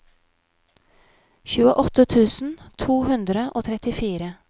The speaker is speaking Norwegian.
tjueåtte tusen to hundre og trettifire